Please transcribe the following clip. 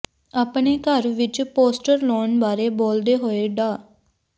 ਆਪਣੇ ਘਰ ਵਿੱਚ ਪੋਸਟਰ ਲਾਉਣ ਬਾਰੇ ਬੋਲਦੇ ਹੋਏ ਡਾ